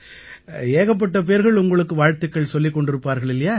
ஏகப்பட்ட பேர்கள் உங்களுக்கு வாழ்த்துக்கள் சொல்லிக் கொண்டிருப்பார்களே